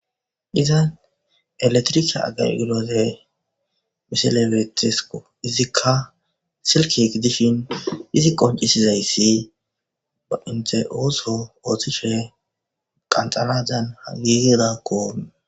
Iza eletrike agargiloze misilebetesko izikka silkig dishin izi qoncisizayssi ba inte ooso ooththishe qanxaladan hagigidakkoon